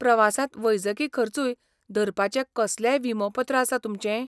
प्रवासांत वैजकी खर्चूय धरपाचें कसलेंय विमोपत्र आसा तुमचें?